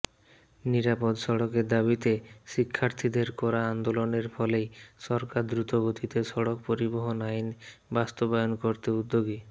নিরাপদ সড়কের দাবীতে শিক্ষার্থীদের করা আন্দোলনের ফলেই সরকার দ্রুতগতিতে সড়ক পরিবহন আইন বাস্তবায়ন করতে উদ্যোগী